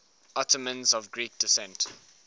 ottomans of greek descent